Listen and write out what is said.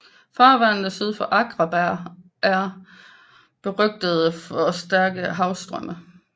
Farvandene syd for Akraberg er er berygtede for stærke havstrømme